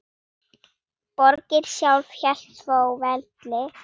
Borgin sjálf hélt þó velli.